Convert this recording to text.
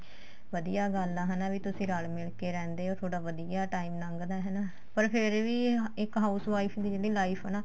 ਵਧੀਆ ਗੱਲ ਆ ਹਨਾ ਵੀ ਤੁਸੀਂ ਰਲ ਮਿਲ ਕੇ ਰਹਿੰਦੇ ਓ ਤੁਹਾਡਾ ਵਧੀਆ time ਲੰਗਦਾ ਹਨਾ ਪਰ ਫੇਰ ਵੀ ਇੱਕ house wife ਦੀ life ਏ ਨਾ